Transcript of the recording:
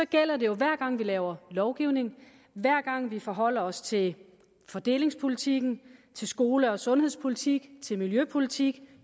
gælder det jo hver gang vi laver lovgivning hver gang vi forholder os til fordelingspolitikken til skole og sundhedspolitik til miljøpolitik